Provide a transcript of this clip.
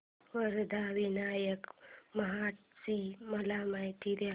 वरद विनायक महड ची मला माहिती दे